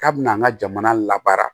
K'a bɛna an ka jamana labaara